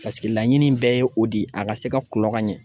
Paseke laɲini bɛɛ ye o de ye a ka se ka kulɔ ka ɲɛ.